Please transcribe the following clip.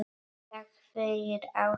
Takk fyrir ástina.